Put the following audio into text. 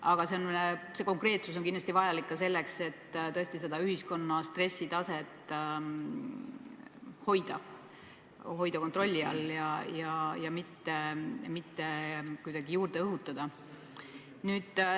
Aga konkreetsus on vajalik ka selleks, et ühiskonna stressitaset kontrolli all hoida ja stressi mitte kuidagi juurde tekitada.